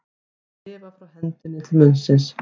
Að lifa frá hendinni til munnsins